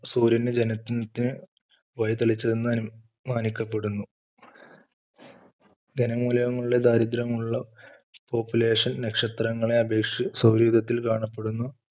സൂര്യൻറെ ജനത്തിന് വഴിതെളിച്ചത് എന്ന് മാനിക്കപ്പെടുന്നു. ധനമൂലകങ്ങളുടെ ദാരിദ്ര്യമുള്ള population നക്ഷത്രങ്ങളെ അപേക്ഷിച്ച് സൗരയൂഥത്തിൽ കാണപ്പെടുന്നു.